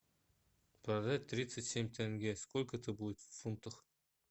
продать тридцать семь тенге сколько это будет в фунтах